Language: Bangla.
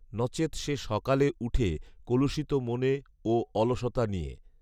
নচেৎ সে সকালে উঠে কলুষিত মনে ও অলসতা নিয়ে’